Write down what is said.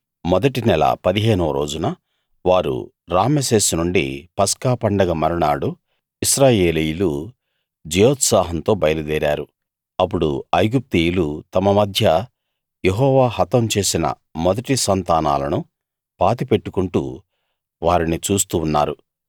మొదటి నెల 15 వ రోజున వారు రామెసేసు నుండి పస్కా పండగ మరునాడు ఇశ్రాయేలీయులు జయోత్సాహంతో బయలుదేరారు అప్పుడు ఐగుప్తీయులు తమ మధ్య యెహోవా హతం చేసిన మొదటి సంతానాలను పాతిపెట్టుకుంటూ వారిని చూస్తూ ఉన్నారు